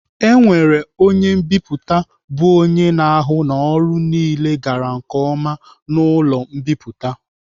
E nwere onye mbipụta bụ onye na-ahụ na ọrụ niile gara nke ọma n'ụlọ mbipụta.